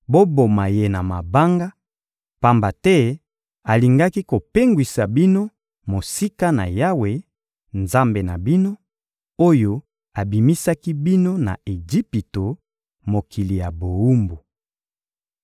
Boboma ye na mabanga, pamba te alingaki kopengwisa bino mosika na Yawe, Nzambe na bino, oyo abimisaki bino na Ejipito, mokili ya bowumbu.